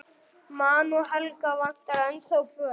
Man að Helga vantar ennþá föt.